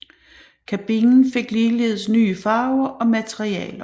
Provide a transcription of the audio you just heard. Kabinen fik ligeledes nye farver og materialer